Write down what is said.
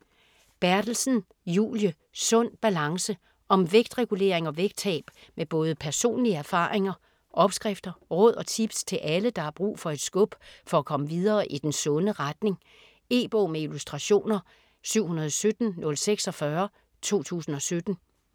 Berthelsen, Julie: Sund balance Om vægtregulering og vægttab med både personlige erfaringer, opskrifter, råd og tips til alle, der har brug for et skub for at komme videre i den sunde retning. E-bog med illustrationer 717046 2017.